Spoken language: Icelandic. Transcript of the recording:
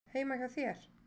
Heima hjá þér?